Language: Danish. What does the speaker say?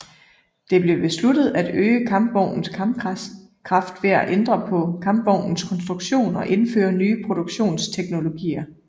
Det blev besluttet at øge kampvognens kampkraft ved at ændre på kampvognens konstruktion og indføre nye produktionsteknologier